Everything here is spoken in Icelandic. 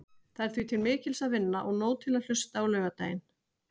Það er því til mikils að vinna og nóg til að hlusta á laugardaginn.